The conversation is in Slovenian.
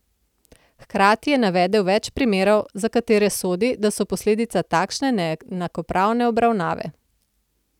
Hkrati je navedel več primerov, za katere sodi, da so posledica takšne neenakopravne obravnave.